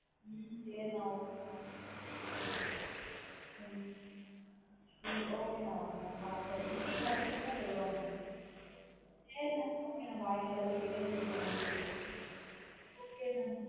ஹம் சேரி நா okay நா ஹம் okay ந okay ந பாத்துன்னா ticket கிடச்சுசுனா சொல்றேன் ந சரி நா okay bye நா எல்லாரையும் கேட்டேன்னு சொல்லுங்கா நா வீட்ல okay நா?